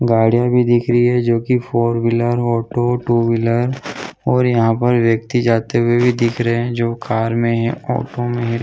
गाड़िया भी दिख रही है जो four wheeler auto two wheeler और यहाँ पे व्यक्ति जाते हुए दिख रहे है जो कार में ऑटो में--